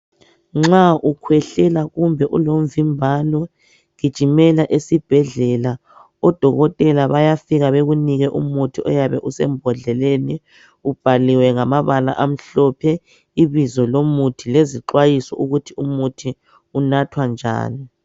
Nxa ukhwehlela kumbe ulomvimbano gijimela esibhedlela, odokotela bayafika bakunike umuthi oyabe usembodleleni ubhaliwe ngamabala amhlophe ibizo lomuthi lezixwayiso ukuthi umuthi unathwa njani.